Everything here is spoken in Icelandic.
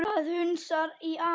Það hnussar í afa.